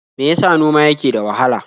Me ya sa noma yake da wahala?